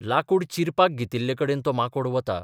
लाकूड चिरपाक घेतिल्लेकडेन तो माकोड वता.